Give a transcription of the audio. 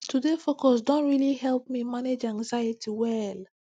to dey focus don really help me manage anxiety well